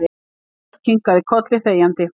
Örn kinkaði kolli þegjandi.